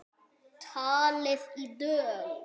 Talið í dögum.